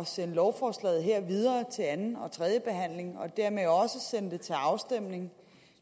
at sende lovforslaget her videre til anden og tredje behandling og dermed også sende det til afstemning